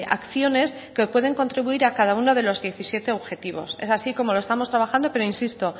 acciones que pueden contribuir a cada uno de los diecisiete objetivos es así como lo estamos trabajando pero insisto